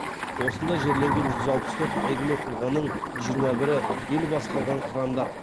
осында жерленген жүз алпыс төрт әйгілі тұлғаның жиырма бірі ел басқарған қырандар